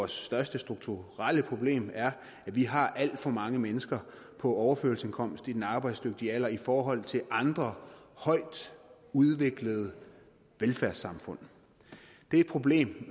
største strukturelle problem er at vi har alt for mange mennesker på overførselsindkomst i den arbejdsdygtige alder i forhold til andre højt udviklede velfærdssamfund det er et problem